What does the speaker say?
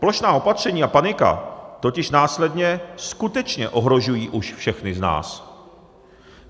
Plošná opatření a panika totiž následně skutečně ohrožují už všechny z nás.